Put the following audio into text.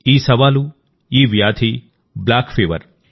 ఈ సవాలుఈ వ్యాధి కాలాజార్